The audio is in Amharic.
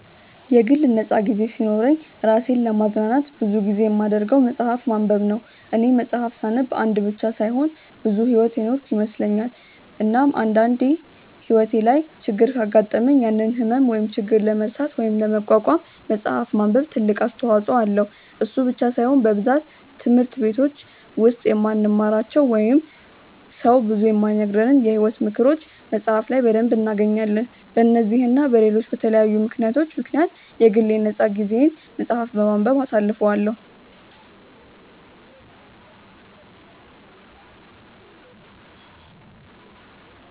የግል ነፃ ጊዜ ሲኖረኝ እራሴን ለማዝናናት ብዙ ጊዜ የማደርገው መፅሐፍ ማንበብ ነው፦ እኔ መፅሐፍ ሳነብ አንድ ብቻ ሳይሆን ብዙ ሕይወት የኖርኩ ይመስለኛል፤ እናም አንድ አንዴ ሕይወቴ ላይ ችግር ካጋጠመኝ ያንን ህመም ወይም ችግር ለመርሳት ወይም ለመቋቋም መፅሐፍ ማንበብ ትልቅ አስተዋጽኦ አለው፤ እሱ ብቻ ሳይሆን በብዛት ትምህርት በቲች ውስጥ የማንማራቸው ወይንም ሰው ብዙ የማይነግረንን የሕይወት ምክሮችን መፅሐፍ ላይ በደንብ እናገኛለን፤ በነዚህ እና በለሎች በተለያዩ ምክንያቶች ምክንያት የግል የ ነፃ ጊዜየን መፅሐፍ በማንበብ አሳልፈዋለው።